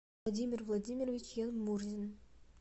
владимир владимирович янмурзин